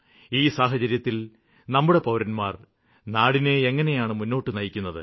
ഈ സാഹചര്യത്തില് നമ്മുടെ പൌരന്മാര് നാടിനെ എങ്ങിനെയാണ് മുന്നോട്ടു നയിക്കുന്നത്